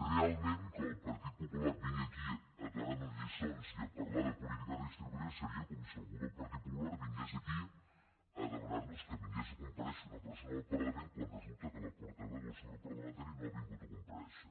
realment que el partit popular vingui aquí a donar nos lliçons i a parlar de polítiques redistributives seria com si algú del partit popular vingués aquí a demanar nos que vingués a comparèixer una persona del parlament quan resulta que la portaveu del seu grup parlamentari no ha vingut a comparèixer